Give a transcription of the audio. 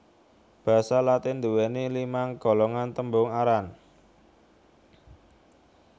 Basa Latin nduwèni limang golongan tembung aran